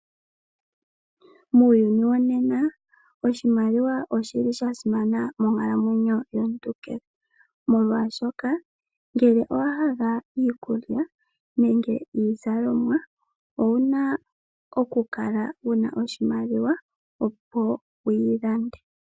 Muuyni wonena oshimaliwa oshili shasimana monkalamwenyo yomuntu kehe, molwashoka ngele owahala iikulya nenge iizalomwa owuna okukala wuna oshimaliwa opo wuyilande.